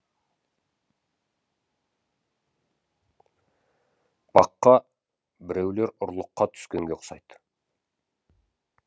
баққа біреулер ұрлыққа түскенге ұқсайды